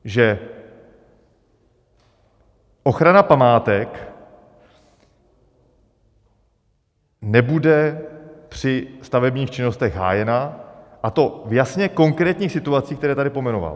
Že ochrana památek nebude při stavebních činnostech hájena, a to v jasně konkrétních situacích, které tady pojmenoval?